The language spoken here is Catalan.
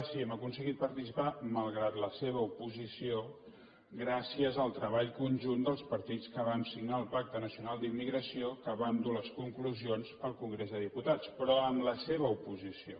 sí hem aconseguit participar malgrat la se·va oposició gràcies al treball conjunt dels partits que vam signar el pacte nacional d’immigració que vam dur les conclusions al congrés dels diputats però amb la seva oposició